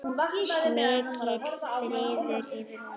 Mikill friður yfir honum.